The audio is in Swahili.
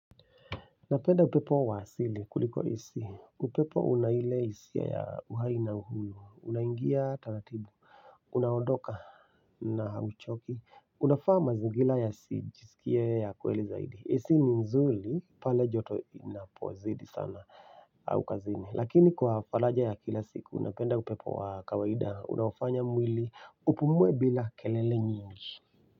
Napenda upepo wa asili kuliko hisi, upepo unaile hisia ya uhai na uhuru, unaingia taratibu, unaondoka na hauchoki, unafaa mazingira yasijisikie ya kweli zaidi, ac ni nzuri pale joto inapozidi sana au kazini, lakini kwa faraja ya kila siku, napenda upepo wa kawaida, unaofanya mwili upumuwe bila kelele nyingi.